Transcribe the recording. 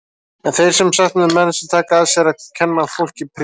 En þeir eru sem sagt með menn sem taka að sér að kenna fólki prívat.